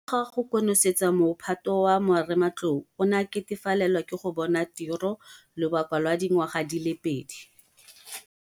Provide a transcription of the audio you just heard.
Morago ga go konosetsa mo phato wa marematlou o ne a ketefalelwa ke go bona tiro lobaka lwa dingwaga di le pedi.